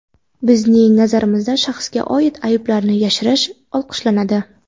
Bizning nazarimizda shaxsga oid ayblarni yashirish olqishlanadi.